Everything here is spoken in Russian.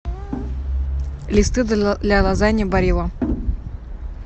листы для лазаньи барилла